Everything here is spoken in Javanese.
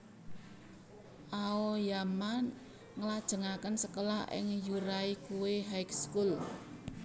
Aoyama nglajengaken sekolah ing Yuraikuei High School